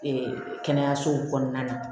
kɛnɛyasow kɔnɔna na